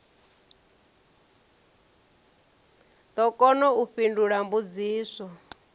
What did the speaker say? ḓo kona u fhindula mbudziso